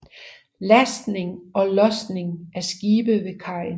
Lastning og lodsning af skibe ved kajen